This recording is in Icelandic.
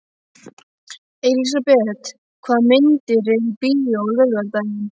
Elisabeth, hvaða myndir eru í bíó á laugardaginn?